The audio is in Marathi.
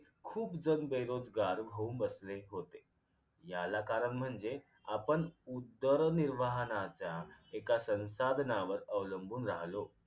खूप जण बेरोजगार होऊन बसले होते याला कारण म्हणजे आपण उदर्निर्वाहनाचा एका संसाधनांवर अवलंबून राहिलो